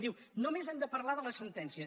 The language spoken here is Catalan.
diu només hem de parlar de la sentència